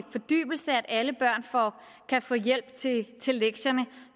fordybelse at alle børn kan få hjælp til lektierne